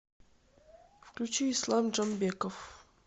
включи ислам джамбеков